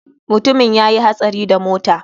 Mutumin ya yi hatsari da mota.